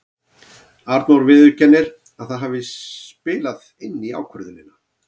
Arnór viðurkennir að það hafi spilað inn í ákvörðunina.